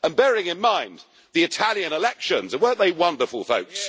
Bearing in mind the Italian elections and weren't they wonderful, folks?